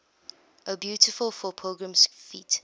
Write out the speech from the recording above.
o beautiful for pilgrim feet